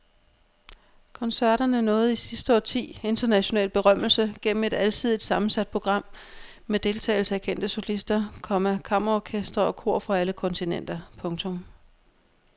Koncerterne nåede i sidste årti international berømmelse gennem et alsidigt sammensat program med deltagelse af kendte solister, komma kammerorkestre og kor fra alle kontinenter. punktum